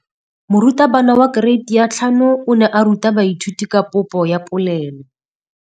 Moratabana wa kereiti ya 5 o ne a ruta baithuti ka popô ya polelô.